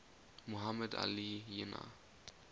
muhammad ali jinnah